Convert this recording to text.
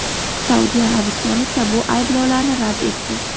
Saudiya Arabistoni esa bu ayblovlarni rad etdi.